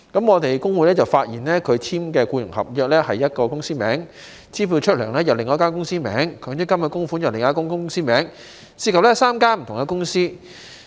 我們工會發現跟他簽署僱傭合約的是一間公司的名字，支薪的支票是另外一間公司的名字，強制性公積金供款又是另外一間公司的名字，涉及3間不同的公司。